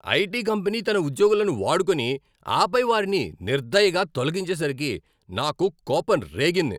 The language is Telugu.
ఐటీ కంపెనీ తన ఉద్యోగులను వాడుకొని, ఆపై వారిని నిర్దయగా తొలగించేసరికి నాకు కోపం రేగింది.